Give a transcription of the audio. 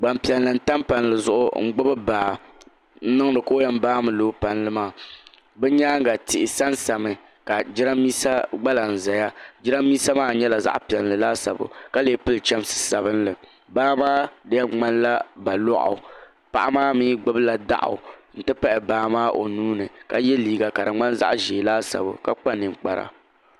Gbaŋ piɛlli tam palli zuɣu n gbubi baa n niŋdi ka o yɛn baami loogi palli maa bi yɛanga tihi sa n sami la jiranbesa gba kam zaya jiranbesa maa nyɛla zaɣi piɛlli laasabu ka lee pili chamsi sabinli baa maa di yɛn mŋani la ba lɔɣu paɣa maa mi gbubi la daɣu n ti pahi baa maa o nuu ni ka ye liiga ka di mŋani zaɣi zɛɛ laasabu ka kpa ninkpara.